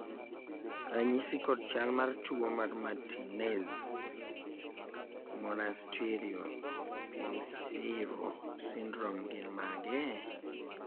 ranyisi kod chal mar tuo mar Martinez Monasterio Pinheiro syndrome gin mage?